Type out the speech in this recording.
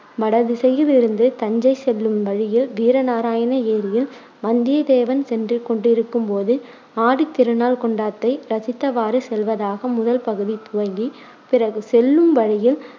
வடதிசையில் இருந்து தஞ்சை செல்லும் வழியில் வீரநாராயண ஏரியில் வந்திய தேவன் சென்றுகொண்டிருக்கும் போது ஆடி திருநாள் கொண்டாட்டத்தை ரசித்தவாறு செல்வதாக முதல் பகுதி துவங்கி, பிறகு செல்லும் வழியில்